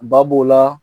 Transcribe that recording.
Ba b'o la